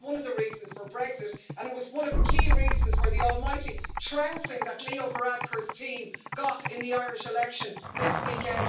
That was one of the reasons for Brexit, and it was one of the key reasons for the almighty trouncing that Leo Varadkar's team got in the Irish election this weekend.